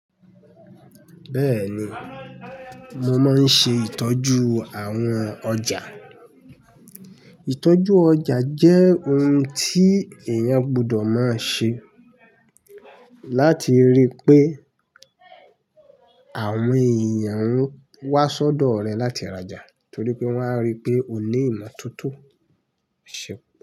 Bẹ́ẹ̀ni, mo máa ń ṣe ìtọ́jú àwọn ọjà. Ìtọ́jú ọjà jẹ́ ohun tí èèyàn gbudọ̀ máa ṣe láti ríi pé àwọn èèyàn ń wá s'ọ́dọ̀ rẹ láti ra'jà torí pé wọ́n á ríi pé o ní ìmọ̀toto. Ṣé.